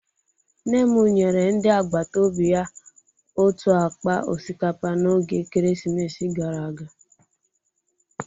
Nne m nyere ndị agbata obi ya otu akpa osikapa n'oge ekeresimesi gara aga